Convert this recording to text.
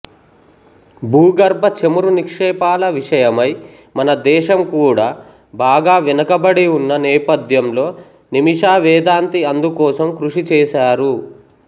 భూగర్భ చమురు నిక్షేపాల విషయమై మన దేశం కూడా బాగా వెనకబడి ఉన్న నేపథ్యంలో నిమిషా వేదాంతి అందుకోసం కృషిచేశారు